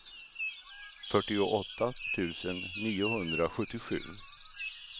fyrtioåtta tusen niohundrasjuttiosju